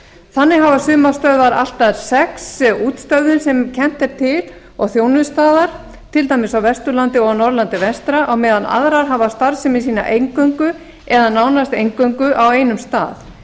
þannig hafa sumar stöðvar allt að sex útstöðvar sem kennt er til og þjónustaðar til dæmis á vesturlandi og norðurl v á meðan aðrar hafa starfsemi sína eingöngu eða nánast eingöngu á einum stað